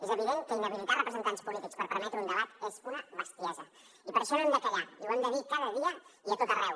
és evident que inhabilitar representants polítics per permetre un debat és una bestiesa i per això no hem de callar i ho hem de dir cada dia i a tot arreu